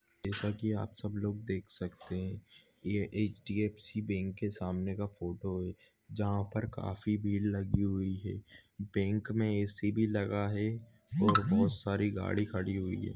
जैसा कि आप सब लोग देख सकते है कि ये एच_डी_एफ_सी बँक कि सामने का फोटो है जहा पर काफी भीड लगी हुई है बँक मे ए सी भी लगा है और बहुत सारी गाडी खडी है।